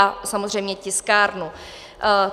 A samozřejmě tiskárnu.